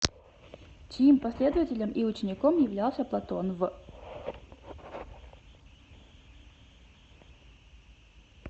чьим последователем и учеником являлся платон в